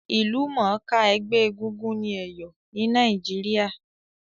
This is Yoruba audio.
Ìlúmònká ẹgbẹ́ egúngún ni Èyò ni Naíjiria